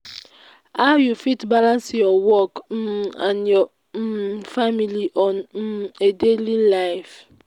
how you fit balance your work um and your um family on um a daily life?